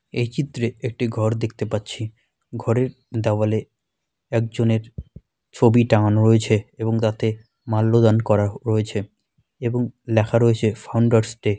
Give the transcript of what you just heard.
এ চিত্রে একটি ঘড় দেখতে পাচ্ছি ঘড়ের দেওয়ালে একজনের ছবি টাঙানো রয়েছে এবং তাতে মাল্যদান করা রয়েছে এবং লেখা রয়েছে ফাউন্ডার্স ডে।